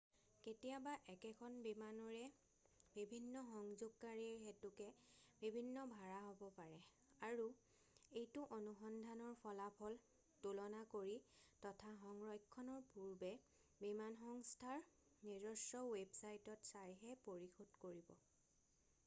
কেতিয়াবা একেখন বিমানৰে বিভিন্ন সংযোগকাৰীৰ হেতুকে বিভিন্ন ভাড়া হ'ব পাৰে আৰু এইটো অনুসন্ধানৰ ফলাফল তুলনা কৰি তথা সংৰক্ষণৰ পূৰ্বে বিমানসংস্থাৰ নিজস্ব ৱেবচাইটত চাইহে পৰিশোধ কৰিব